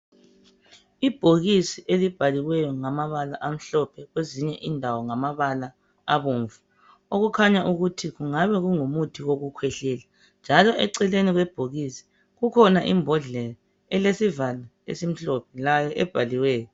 Ibhokisi elibhaliweyo ngamabala amhlophe kwezinye indawo ngamabala abomvu okukhanya ukuthi kungabe kungumuthi wokukhwehlela njalo eceleni kwebhokisi kukhona imbodlela elesivalo esimhlophe layo ebhaliweyo.